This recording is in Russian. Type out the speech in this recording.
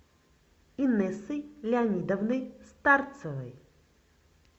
инессой леонидовной старцевой